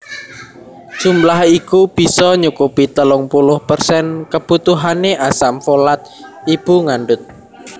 Jumlah iku bisa nyukupi telung puluh persen kebutuhané asam folat ibu ngandut